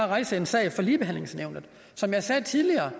rejse en sag ved ligebehandlingsnævnet som jeg sagde tidligere